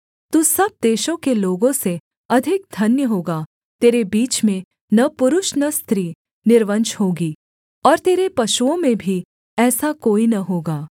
तू सब देशों के लोगों से अधिक धन्य होगा तेरे बीच में न पुरुष न स्त्री निर्वंश होगी और तेरे पशुओं में भी ऐसा कोई न होगा